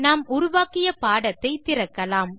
நாம் உருவாக்கிய பாடத்தை திறக்கலாம்